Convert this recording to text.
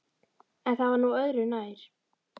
En það var nú öðru nær.